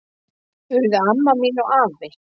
Urðu amma mín og afi.